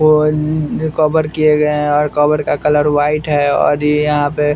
phone ने cover किए गए हैं और कवर का कलर व्हाइट है और ये यहां पे--